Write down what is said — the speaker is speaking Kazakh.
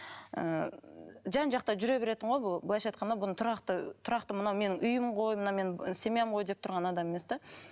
ы жан жақта жүре беретін ғой бұл былайша айтқанда бұның тұрақты тұрақты мынау менің үйім ғой мынау менің семьям ғой деп тұрған адам емес те